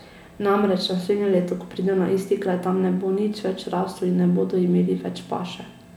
Namreč, naslednje leto, ko pridejo na isti kraj, tam ne bo nič več rastlo in ne bodo imeli več paše.